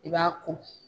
I b'a ko